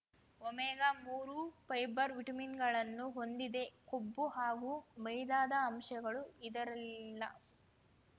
ಒಮೆಗಾಮೂರು fibre ವಿಟಮಿನ್‌ಗಳನ್ನು ಹೊಂದಿದೆ ಕೊಬ್ಬು ಹಾಗೂ ಮೈದಾದ ಅಂಶಗಳು ಇದರಲ್ಲಿಲ್ಲ